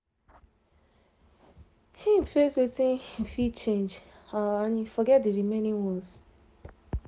im face wetin im fit change and forget d remaining ones